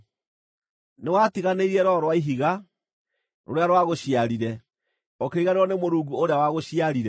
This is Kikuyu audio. Nĩwatiganĩirie Rwaro rwa Ihiga, rũrĩa rwagũciarire; ũkĩriganĩrwo nĩ Mũrungu ũrĩa wagũciarire.